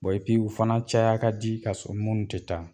u fana caya ka di ka sɔrɔ munnu ti taa